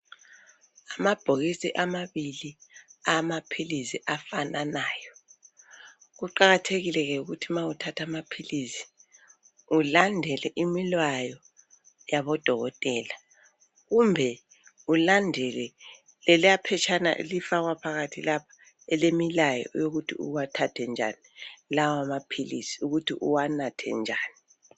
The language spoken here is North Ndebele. Amabhokisi amabili awamaphilisi afananayo. Kuqakathekile ke ukuthi nxa uthatha amaphilisi ulandele imilayo yabodokotela kumbe ulandele leliya phetshana elifakwa phakathi lapha elemilayo yokuthi uwathathe njani lawo maphilisi ukuthi uwanathe njani.